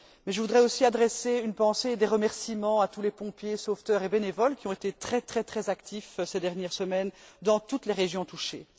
Mais je voudrais aussi adresser une pensée et des remerciements à tous les pompiers, sauveteurs et bénévoles qui ont été très actifs ces dernières semaines dans toutes les régions touchées.